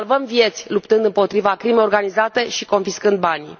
Salvăm vieți luptând împotriva crimei organizate și confiscând banii.